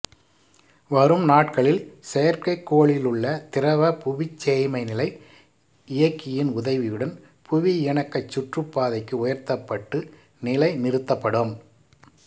வரும் நாட்களில் செயற்கைக்கோளிலுள்ள திரவ புவிச்சேய்மைநிலை இயக்கியின் உதவியுடன் புவியிணக்கச் சுற்றுப்பாதைக்கு உயர்த்தப்பட்டு நிலை நிறுத்தப்படும்